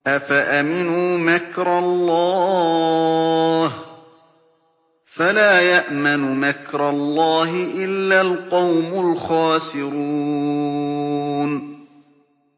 أَفَأَمِنُوا مَكْرَ اللَّهِ ۚ فَلَا يَأْمَنُ مَكْرَ اللَّهِ إِلَّا الْقَوْمُ الْخَاسِرُونَ